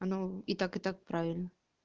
оно и так и так правильно